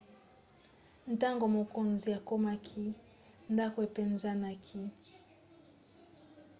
ntango mokonzi akomaki ndako epanzanaki